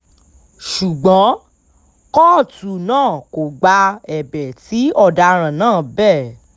ṣùgbọ́n kóòtù náà kò gba ẹ̀bẹ̀ tí ọ̀daràn náà bẹ́